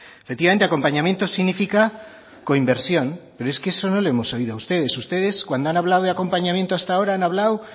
efectivamente acompañamiento significa coinversión pero esto no le hemos oído a ustedes ustedes cuando han hablado de acompañamiento hasta ahora han hablado